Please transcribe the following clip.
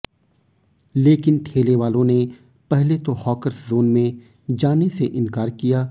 लेकिन ठेलेवालों ने पहले तो हाकर्स जोन में जाने से इनकार किया